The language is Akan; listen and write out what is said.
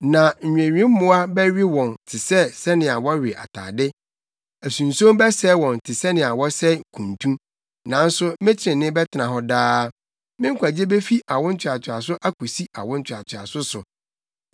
Na nnwewemmoa bɛwe wɔn te sɛnea wɔwe atade; asunson bɛsɛe wɔn te sɛnea wɔsɛe kuntu. Nanso me trenee bɛtena hɔ daa, me nkwagye befi awo ntoatoaso akosi awo ntoatoaso so.”